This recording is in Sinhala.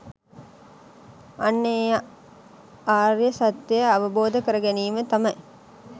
අන්න ඒ ආර්ය සත්‍යය අවබෝධ කරගැනීම තමයි